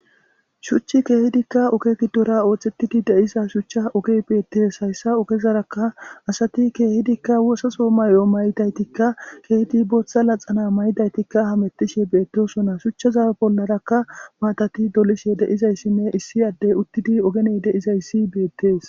Shuchay kehidka oge giddora oothetidi de'za shucha ogeyi beetesi. Haysa ogezaraka asati keehidika oososo mayo mayidaytika keehidi Botha laxana mayidaytika hametishe betosona, shuchaza bollaraka maatati dolishe de'izaysinne issi adeyi utidi ogeni de'izaysi beetesi.